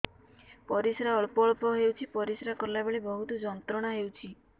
ପରିଶ୍ରା ଅଳ୍ପ ଅଳ୍ପ ହେଉଛି ପରିଶ୍ରା କଲା ବେଳେ ବହୁତ ଯନ୍ତ୍ରଣା ହେଉଛି